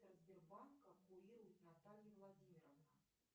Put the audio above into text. сбербанка курирует наталья владимировна